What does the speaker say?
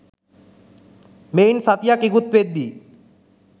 මෙයින් සතියක් ඉකුත් වෙද්දී